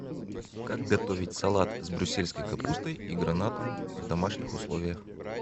как готовить салат с брюссельской капустой и гранатом в домашних условиях